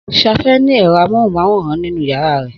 Safe ní ẹ̀rọ amóhùnmáwòrán nínú yàrá rẹ̀